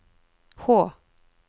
H